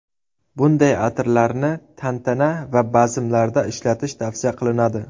Bunday atirlarni tantana va bazmlarda ishlatish tavsiya qilinadi.